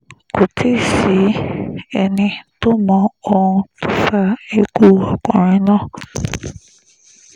kò tí ì sẹ́ni tó mọ ohun tó fa ikú ọkùnrin náà